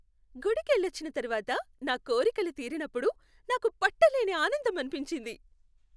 గుడికి వెళ్ళొచ్చిన తర్వాత నా కోరికలు తీరినప్పుడు నాకు పట్టలేని ఆనందం అనిపించింది.